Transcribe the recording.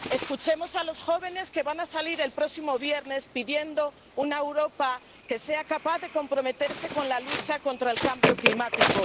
escuchemos a los jóvenes que van a salir el próximo viernes pidiendo una Europa que sea capaz de comprometerse con la lucha contra el cambio climático.